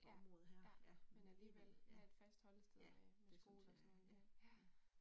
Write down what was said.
Ja, ja. Men alligevel af at fastholde et sted øh med med skole og sådan nogle ting